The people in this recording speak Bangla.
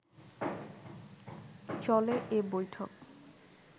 চলে এ বৈঠক